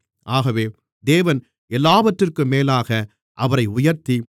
ஆகவே தேவன் எல்லாவற்றிற்கும் மேலாக அவரை உயர்த்தி